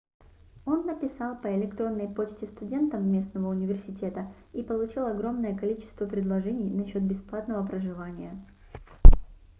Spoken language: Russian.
он написал по электронной почте студентам местного университета и получил огромное количество предложений насчёт бесплатного проживания